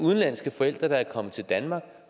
udenlandske forældre er kommet til danmark og